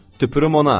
Tüpürüm ona.